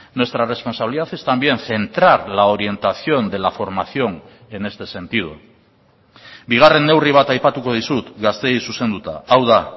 nuestra responsabilidad es también centrar la orientación de la formación en este sentido bigarren neurri bat aipatuko dizut gazteei zuzenduta hau da